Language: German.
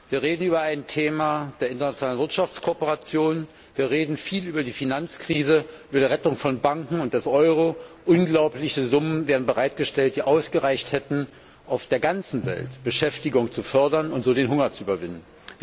Wir reden hier über ein Thema der internationalen Wirtschaftskooperation, wir reden viel über die Finanzkrise, über die Rettung von Banken und des Euro. Unglaubliche Summen werden bereitgestellt, die ausgereicht hätten, auf der ganzen Welt Beschäftigung zu fördern und so den Hunger zu überwinden.